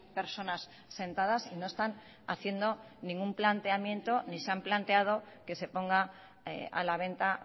personas sentadas y no están haciendo ningún planteamiento ni se han planteado que se ponga a la venta